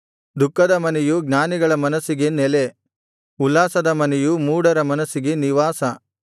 ದುಃಖದ ಮನೆಯು ಜ್ಞಾನಿಗಳ ಮನಸ್ಸಿಗೆ ನೆಲೆ ಉಲ್ಲಾಸದ ಮನೆಯು ಮೂಢರ ಮನಸ್ಸಿಗೆ ನಿವಾಸ